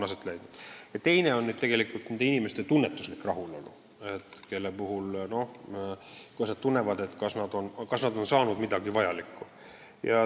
Teine asi on inimeste tunnetuslik rahulolu – kas nad tunnevad, et on saanud midagi vajalikku.